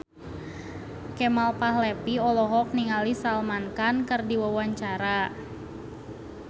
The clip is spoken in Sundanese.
Kemal Palevi olohok ningali Salman Khan keur diwawancara